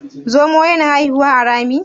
zomo yana haihuwa a Rami?